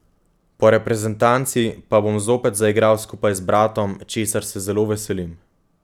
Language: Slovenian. Po reprezentanci pa bom zopet zaigral skupaj z bratom, česar se zelo veselim.